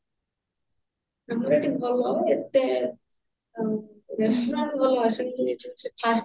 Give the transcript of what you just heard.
ଭଲ ଏତେ restaurant ଆଉ ଗଲା ଆସିକି first ଯୋଉ